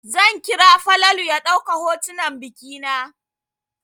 Zan kira Falalu ya ɗauka hotunan biki na.